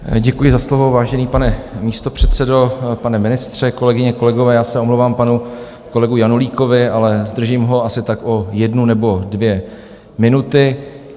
Děkuji za slovo, vážený pane místopředsedo, pane ministře, kolegyně, kolegové, já se omlouvám panu kolegu Janulíkovi, ale zdržím ho asi tak o jednu nebo dvě minuty.